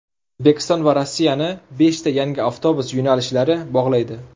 O‘zbekiston va Rossiyani beshta yangi avtobus yo‘nalishlari bog‘laydi.